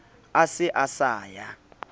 a se a sa ya